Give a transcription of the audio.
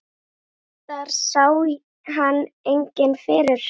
Reyndar sá hann enginn fyrir.